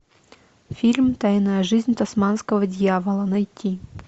фильм тайная жизнь тасманского дьявола найти